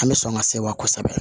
An bɛ sɔn ka se wa kosɛbɛ